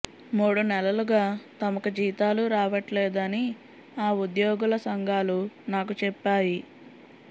మూడు నెలలుగా తమకు జీతాలు రావట్లేదని ఆ ఉద్యోగుల సంఘాలు నాకు చెప్పాయి